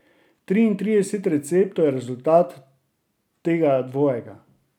Triintrideset receptov je rezultat tega dvojega.